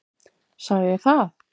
Sagði ég það?